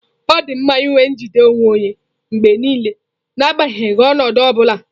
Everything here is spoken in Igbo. Ọ dị mma inwe njide onwe onye mgbe niile, n'agbanyeghị ọnọdụ ọ bula.